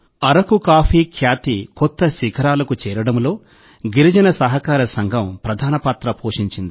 Araku coffee ఖ్యాతి కొత్త శిఖరాలకు చేరడంలో గిరిజన సహకార సంఘం ప్రధాన పాత్ర పోషించింది